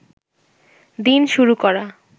দিন শুরু করা